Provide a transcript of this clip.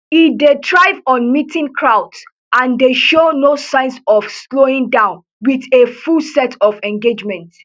e dey thrive on meeting crowds and dey show no signs of slowing down wit a full set of engagements